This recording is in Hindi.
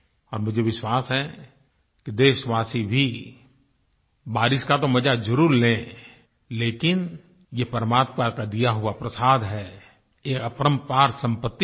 और मुझे विश्वास है कि देशवासी भी बारिश का तो मज़ा ज़रूर लें लेकिन ये परमात्मा का दिया हुआ प्रसाद है ये अपरंपार संपत्ति है